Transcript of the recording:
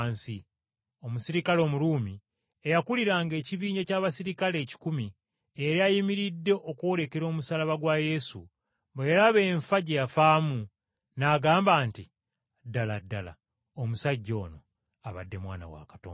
Omuserikale Omuruumi eyakuliranga ekibinja ky’abaserikale ekikumi eyali ayimiridde okwolekera omusaalaba gwa Yesu, bwe yalaba enfa gye yafaamu, n’agamba nti, “Ddala ddala, omusajja ono abadde Mwana wa Katonda!”